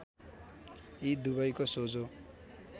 यी दुबैको सोझो